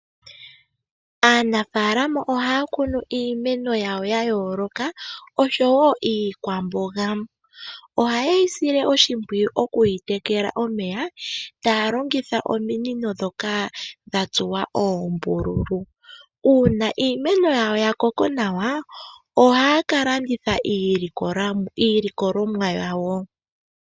Aanafaalama oha ya kunu iimene yawo ya yooloka, osho woo iikwamboga. Oha ye yi sile oshimpwiyu oku yi tekela omeya, taya longitha ominino ndhoka dha tsuwa oombululu.